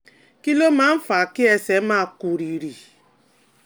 Kí ló máa ń fa kí ẹsẹ̀ máa kú rìrì?